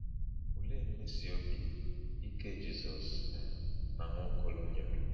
Olee mmesi obi ike Jizọs um na Nwaokolo nyere?